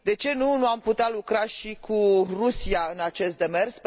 De ce nu am putea lucra și cu Rusia în acest demers?